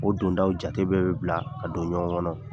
O dondaw jate bɛ bɛ bila ka don ɲɔgɔn kɔnɔ.